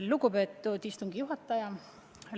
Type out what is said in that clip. Lugupeetud istungi juhataja!